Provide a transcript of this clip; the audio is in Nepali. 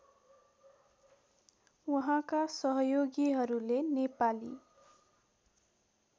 उहाँका सहयोगीहरूले नेपाली